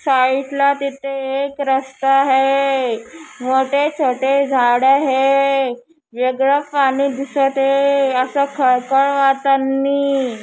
Site ला तिथे एक रस्ता है मोठे छोटे झाड है वेगळ पाणी दिसत है। असा खळखळ--